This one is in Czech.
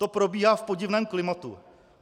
To probíhá v podivném klimatu.